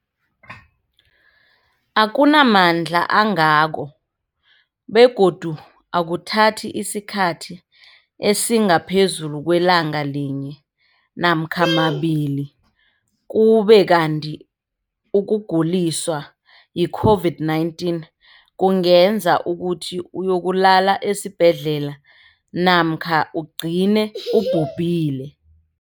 akuna mandla angako begodu akuthathi isikhathi esingaphezulu kwelanga linye namkha mabili, ukube kanti ukuguliswa yi-COVID-19 kungenza ukuthi uyokulala esibhedlela namkha ugcine ubhubhile.